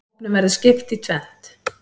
Hópnum verður skipt í tvennt.